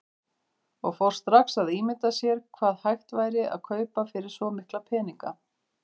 Og fór strax að ímynda sér hvað hægt væri að kaupa fyrir svo mikla peninga.